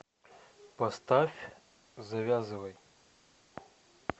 поставь завязывай